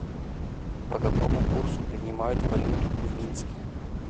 по какому курсу принимают валюту в минске